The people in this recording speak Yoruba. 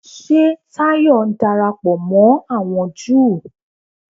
Ṣé Táyọ̀ ń darapọ̀ mọ́ àwọn Júù?